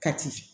Kati